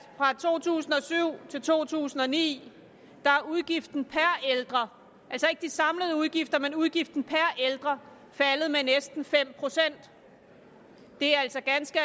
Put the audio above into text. fra to tusind og syv til to tusind og ni er udgiften per ældre altså ikke de samlede udgifter men udgiften per ældre faldet med næsten fem procent det er altså ganske